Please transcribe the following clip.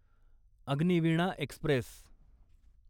Agniveena Express